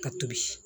Ka tobi